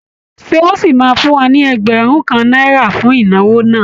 Ṣé o ṣì máa fún wa ní ẹgbẹ̀rún kan náírà fún ìnáwó náà?